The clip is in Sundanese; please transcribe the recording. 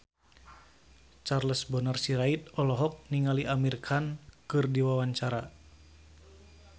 Charles Bonar Sirait olohok ningali Amir Khan keur diwawancara